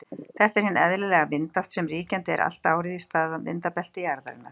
Þetta er hin eðlilega vindátt sem ríkjandi er allt árið í staðvindabelti jarðarinnar.